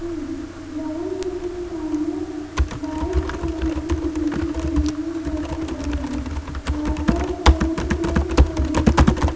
ये ग्राउंड में एक सामने वाइट कलर की बिल्डिंग बनी है बहुत बड़ी आस पास बहुत से पेड़-पौधे हैं।